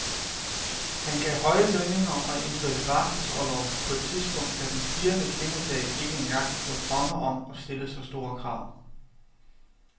Han gav høje lønninger og indførte barselsorlov på et tidspunkt, da den spirende kvindesag ikke engang turde drømme om at stille så store krav.